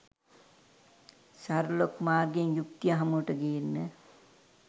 Sherlock මාර්ගයෙන් යුක්තිය හමුවට ගේන්න.